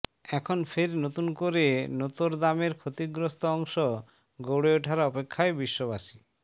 এখন ফের নতুন করে নোতর দামের ক্ষতিগ্রস্ত অংশ গড়ে ওঠার অপেক্ষায় বিশ্ববাসী